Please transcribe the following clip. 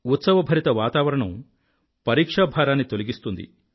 ఉత్సవభరిత వాతావణం పరీక్షాభారాన్ని తొలగిస్తుంది